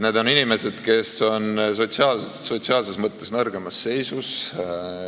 Need on inimesed, kes on sotsiaalses mõttes nõrgemas seisus.